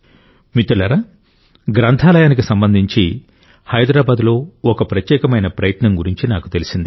మిత్రులారా గ్రంథాలయానికి సంబంధించి హైదరాబాదులో ఒక ప్రత్యేకమైన ప్రయత్నం గురించి నాకు తెలిసింది